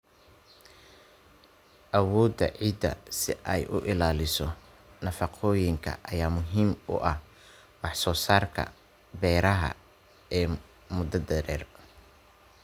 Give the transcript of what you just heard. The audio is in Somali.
Awoodda ciidda si ay u ilaaliso nafaqooyinka ayaa muhiim u ah wax soo saarka beeraha ee muddada dheer.